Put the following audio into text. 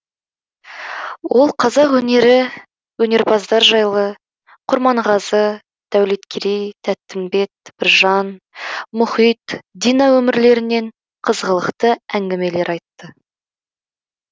ол қазақ өнері өнерпаздар жайлы құрманғазы дәулеткерей тәттімбет біржан мұхит дина өмірлерінен қызғылықты әңгімелер айтты